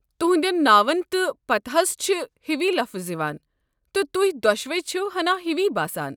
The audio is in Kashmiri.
تُہنٛدٮ۪ن ناون تہٕ پتاہس چھِ ہِوی لفظ یوان، تہٕ تُہۍ دۄشوے چھِوٕ ہنا ہِوی باسان۔